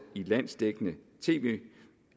i landsdækkende tv